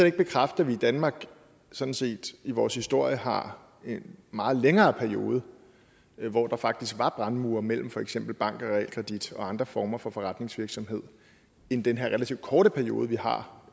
ikke bekræfte at vi i danmark sådan set i vores historie har en meget længere periode hvor der faktisk var brandmure imellem for eksempel bank og realkredit og andre former for forretningsvirksomhed end den her relativt korte periode vi har